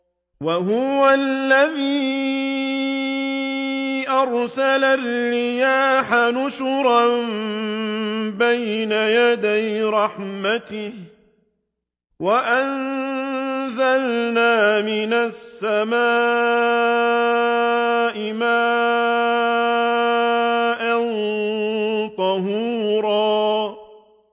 وَهُوَ الَّذِي أَرْسَلَ الرِّيَاحَ بُشْرًا بَيْنَ يَدَيْ رَحْمَتِهِ ۚ وَأَنزَلْنَا مِنَ السَّمَاءِ مَاءً طَهُورًا